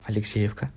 алексеевка